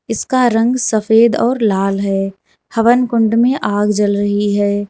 इसका रंग सफेद और लाल है हवनकुंड में आग जल रही है।